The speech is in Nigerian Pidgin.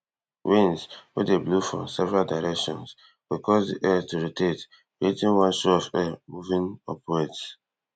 winds wey dey blow for several directions go cause di air to rotate creating one sho of air moving upwards